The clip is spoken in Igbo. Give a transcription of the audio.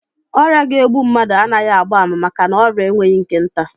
Ọrịa ga-egbu mmadụ anaghị agba ama maka na ọrịa enweghị nke nta